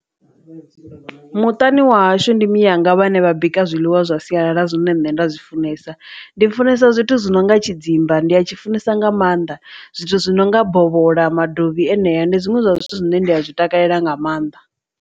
Muṱani wa hashu ndi mianga vhane vha bika zwiḽiwa zwa sialala zwine nṋe nda zwi funesa ndi funesa zwithu zwi nonga tshidzimba ndi a tshi funesa nga maanḓa zwithu zwi nonga bovhola, madovhi enea ndi zwiṅwe zwa zwithu zwine nda zwi takalela nga maanḓa.